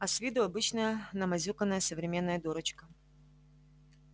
а с виду обычная намазюканная современная дурочка